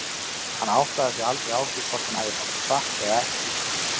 Hann áttaði sig aldrei á því hvort hún hefði sagt satt eða ekki.